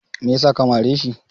me yasa ka mare shi?